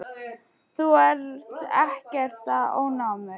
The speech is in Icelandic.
Þú ert ekkert að ónáða mig.